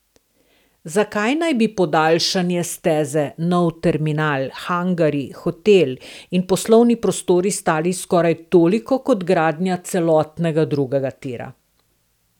Zakaj naj bi podaljšanje steze, nov terminal, hangarji, hotel in poslovni prostori stali skoraj toliko kot gradnja celotnega drugega tira.